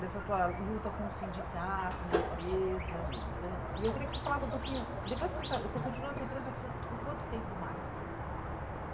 dessa tua luta com o sindicato, na empresa, uhum, eh e eu queria que você falasse um pouquinho, depois você sa você continuou nessa empresa por por quanto tempo mais?